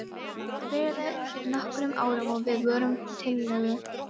Þetta byrjaði fyrir nokkrum árum og við vorum tiltölulega fáar.